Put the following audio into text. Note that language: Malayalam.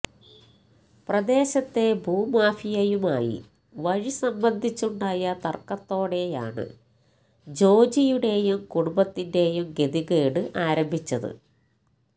പ്രദേശത്തെ ഭൂമാഫിയയുമായി വഴി സംബന്ധിച്ചുണ്ടായ തർക്കത്തോടെയാണ് ജോജിയുടെയും കുടുംബത്തിന്റെയും ഗതികേട് ആരംഭിച്ചത്